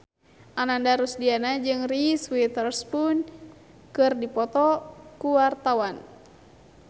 Ananda Rusdiana jeung Reese Witherspoon keur dipoto ku wartawan